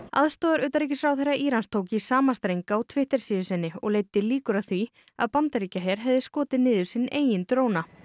aðstoðarutanríkisráðherra Írans tók í sama streng á Twitter síðu sinni og leiddi líkur að því að Bandaríkjaher hefði skotið niður sinn eiginn dróna